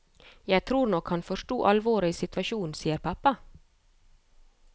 Jeg tror nok han forsto alvoret i situasjonen, sier pappa.